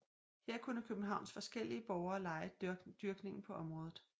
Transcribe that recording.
Her kunne Københavns forskellige borgere leje dyrkningen på området